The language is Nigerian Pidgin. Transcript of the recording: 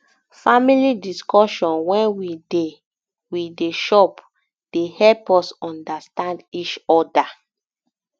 family discussion wen um we dey um we dey chop dey help us understand each oda